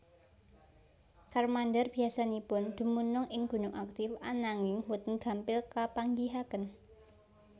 Charmander biasanipun dumunung ing gunung aktif ananging boten gampil kapanggihaken